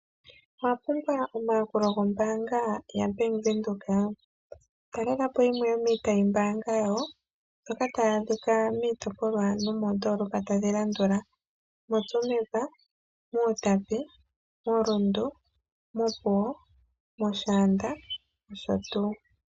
Owa pumbwa omayakulo gombaanga yaBank Windhoek? Talela po yimwe yo miitayi mbaanga yawo mbyoka ta yaadhika miitopolwa nomoondolopa tadhi landula, moTsumeb, mUutapi, moRundu, mOpuwo mOshaanda nosho tuu.